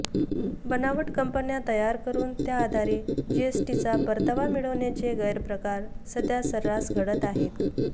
बनावट कंपन्या तयार करून त्याआधारे जीएसटीचा परतावा मिळविण्याचे गैरप्रकार सध्या सर्रास घडत आहेत